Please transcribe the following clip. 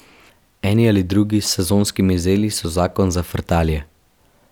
Eni ali drugi s sezonskimi zelmi so zakon za frtalje.